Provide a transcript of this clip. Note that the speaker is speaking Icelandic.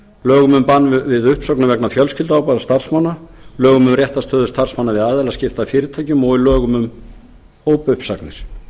lögum um bann við uppsögnum vegna fjölskylduábyrgðar starfsmanna lögum um réttarstöðu starfsmanna við aðilaskipti að fyrirtækjum og í lögum um hópuppsagnir